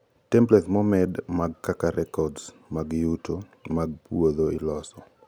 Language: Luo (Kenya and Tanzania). templates momed mag kaka records mag yuto mag puodho iloso